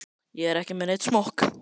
Ég er ekki með neinn smokk.